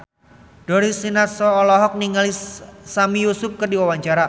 Darius Sinathrya olohok ningali Sami Yusuf keur diwawancara